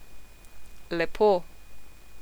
Lepo.